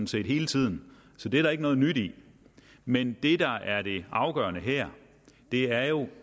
set hele tiden så det er der ikke noget nyt i men det der er det afgørende her er jo